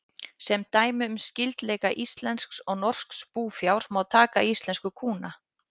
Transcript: Sem dæmi um skyldleika íslensks og norsks búfjár má taka íslensku kúna.